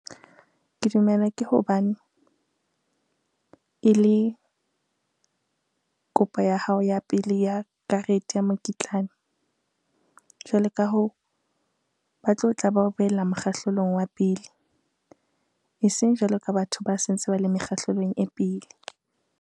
Ke dumela ke hobane, e le kopo ya hao ya pele ya karete ya mokitlane. Jwale ka hoo, ba tlo tla ba o beela mokgahlelong wa pele, eseng jwalo ka batho ba se ntse ba le mekgahlelong e pele.